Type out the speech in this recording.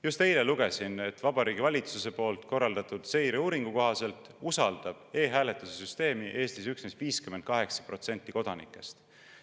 Just eile lugesin, et Vabariigi Valitsuse korraldatud seireuuringu kohaselt usaldab e‑hääletamise süsteemi Eestis üksnes 58% kodanikest.